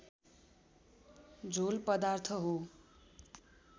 झोल पदार्थ हो